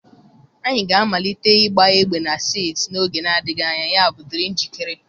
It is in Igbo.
anyị ga-amalite ịgba egbe na set n'oge adịghị anya, yabụ dịrị njikere.